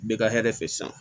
Bɛ ka hɛrɛ fɛ san